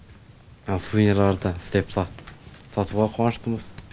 сувинерларды істеп сатуға қуаныштымыз